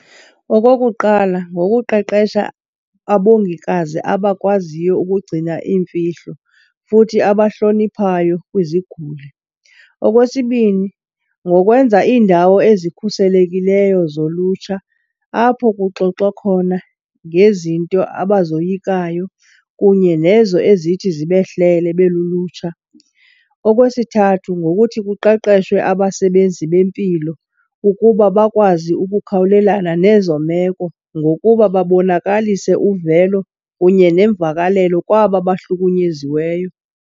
Okokuqala, ngokuqeqesha abongikazi abakwaziyo ukugcina iimfihlo futhi abahloniphayo kwiziguli. Okwesibini, ngokwenza iindawo ezikhuselekileyo zolutsha apho kuxoxwa khona ngezinto abazoyikayo kunye nezo ezithi zibehlele belulutsha. Okwesithathu, ngokuthi kuqeqeshwe abasebenzi bempilo ukuba bakwazi ukukhawulelana nezo meko ngokuba babonakalise uvelo kunye nemvakalelo kwaba bahlukunyeziweyo.